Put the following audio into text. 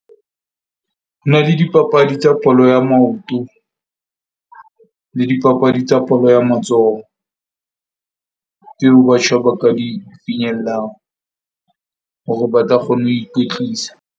Ho na le dipapadi tsa bolo ya maoto le dipapadi tsa bolo ya matsoho tseo batjha ba ka di finyellang hore ba tla kgone ho ikwetlisa.